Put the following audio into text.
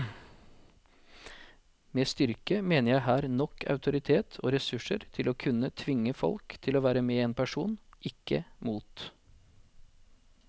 Med styrke mener jeg her nok autoritet og ressurser til å kunne tvinge folk til å være med en person, ikke mot.